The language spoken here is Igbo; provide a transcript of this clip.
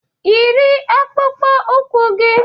Yiri akpụkpọ ụkwụ gị!